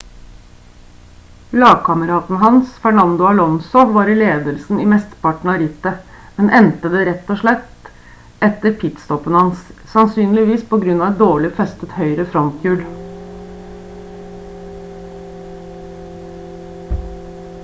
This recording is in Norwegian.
lagkameraten hans fernando alonso var i ledelsen i mesteparten av rittet men endte det rett etter pit-stoppen hans sannsynligvis på grunn av et dårlig festet høyre fronthjul